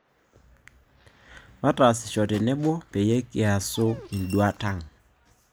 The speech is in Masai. Mataasisho tenebo peyie kiasu induat aang'